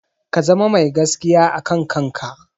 Ka zama mai gaskiya a kan kanka.